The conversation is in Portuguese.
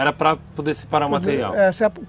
Era para poder separar o material? É,